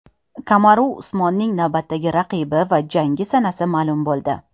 Kamaru Usmonning navbatdagi raqibi va jangi sanasi ma’lum bo‘ldi.